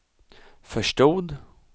förstod